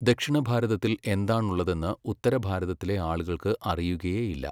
ദക്ഷിണഭാരതത്തിൽ എന്താണുള്ളതെന്ന് ഉത്തരഭാരതത്തിലെ ആളുകൾക്ക് അറിയുകയേ ഇല്ല.